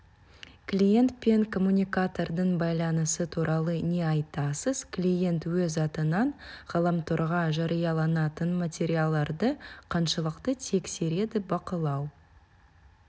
клиент пен коммуникатордың байланысы туралы не айтасыз клиент өз атынан ғаламторға жарияланатын материалдарды қаншалықты тексереді бақылау